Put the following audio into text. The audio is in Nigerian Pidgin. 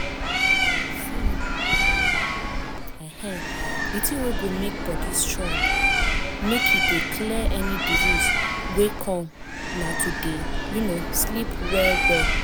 see [um][um]di thing wey go make body strong make e dey clear any disease wey come na to dey um sleep well well.